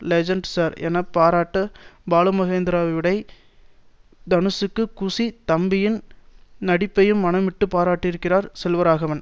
legend sir என பாராட்ட பாலுமகேந்திராவைவிட தனுஷுக்கு குஷி தம்பியின் நடிப்பையும் மனம்விட்டு பாராட்டியிருக்கிறார் செல்வராகவன்